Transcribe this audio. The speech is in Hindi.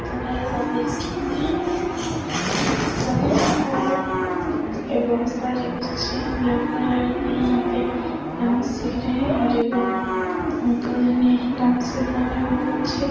तो गाइस आप देख सकते हैं ये बहोत सारे बच्चे लड़का-लड़कीयाँ यहाँ पे डांस सिख रहे हैं और एगो अंकल एने डांस सीखने बहुत अच्छे --